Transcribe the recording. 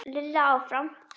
Lilla áfram.